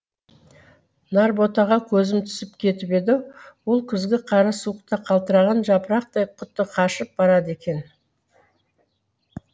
нарботаға көзім түсіп кетіп еді ол күзгі қара суықта қалтыраған жапырақтай құты қашып барады екен